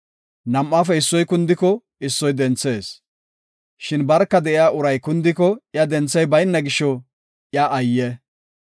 Nam7aafe issoy kundiko issoy denthees; shin barka de7iya uray kundiko iya denthey bayna gisho iya ayye!